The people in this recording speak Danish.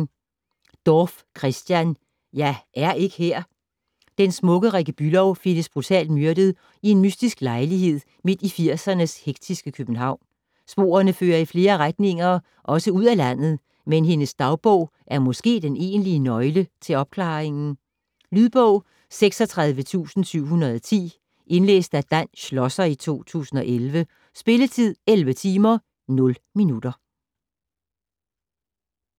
Dorph, Christian: Jeg er ikke her Den smukke Rikke Bülow findes brutalt myrdet i en mystisk lejlighed midt i 80'ernes hektiske København. Sporene fører i flere retninger - også ud af landet, men hendes dagbog er måske den egentlige nøgle til opklaringen. Lydbog 36710 Indlæst af Dan Schlosser, 2011. Spilletid: 11 timer, 0 minutter.